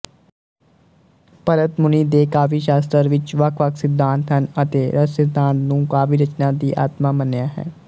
ਭਰਤਮੁਨੀ ਦੇ ਕਾਵਿਸ਼ਾਸਤਰ ਵਿੱਚ ਵੱਖਵੱਖ ਸਿਧਾਂਤ ਹਨ ਅਤੇ ਰਸਸਿਧਾਂਤ ਨੂੰ ਕਾਵਿਰਚਨਾ ਦੀ ਆਤਮਾ ਮੰਨਿਆ ਹੈ